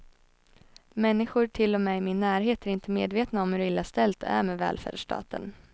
Människor till och med i min närhet är inte medvetna om hur illa ställt det är med välfärdsstaten.